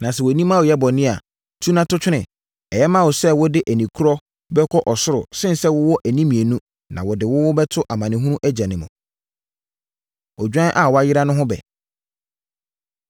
Na sɛ wʼani ma woyɛ bɔne a, tu na to twene. Ɛyɛ ma wo sɛ wode ani korɔ bɛkɔ ɔsoro sene sɛ wowɔ ani mmienu na wɔde wo bɛto amanehunu egya mu. Odwan A Wayera No Ho Ɛbɛ